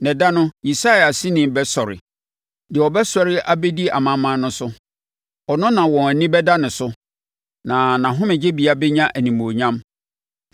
Na da no, Yisai aseni no bɛsɔre; deɛ ɔbɛsɔre abɛdi amanaman no so; ɔno na wɔn ani bɛda ne so, na nʼahomegyebea bɛnya animuonyam.